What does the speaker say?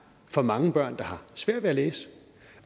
for mange børn der har svært ved at læse